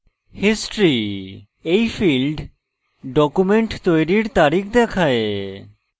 historyএই field document তৈরির তারিখ দেখায়